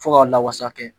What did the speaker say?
Fo ka lawusa kɛ